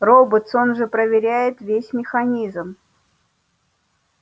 роботс он же проверяет весь механизм